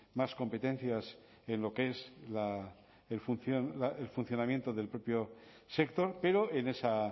más competencias en lo que es el funcionamiento del propio sector pero en esa